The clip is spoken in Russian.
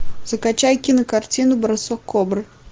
закачай кинокартину бросок кобры